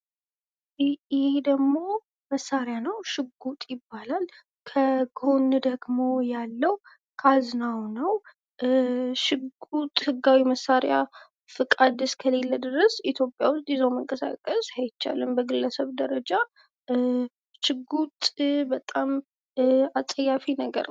ይህ ደግሞ መሳሪያ ነው ሽጉጥ ይባላል። ከጎን ደግሞ ያለው ካዝናው ነው። ሽጉጥ ህጋዊ መሳሪያ ፈቃድ እስከሊለ ድረስ ኢትዮጵያ ውስጥ ይዞ መንቀሳቀስ አይቻልም። በግለሰብ ደረጃ፤ ሽጉጥ በጣም አጸያፊ ነገር ነው።